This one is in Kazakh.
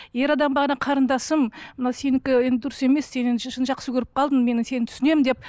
ер адам бағана қарындасым мынау сенікі енді дұрыс емес сен шын жақсы көріп қалдың мені сені түсінемін деп